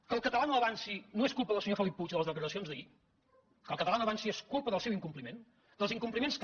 que el català no avanci no és culpa del senyor felip puig de les declaracions d’ahir que el català no avanci és culpa del seu incompliment dels incompliments que